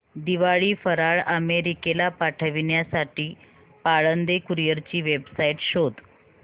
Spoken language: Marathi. दिवाळी फराळ अमेरिकेला पाठविण्यासाठी पाळंदे कुरिअर ची वेबसाइट शोध